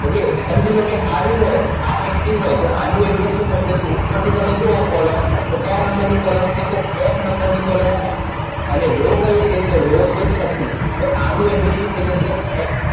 Okay સમજી લો કે આ જુઓ, આ active હોય તો આનું address નું ઉપર થી તમે જુઓ column, તો ક્યાં number ની column છે? તો F number ની column છે. અને Raw કઈ છે? તો Raw છે છઠ્ઠી. તો આનું address શું થઈ જશે? F